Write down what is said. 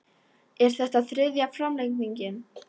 Er þetta þriðja framlengingin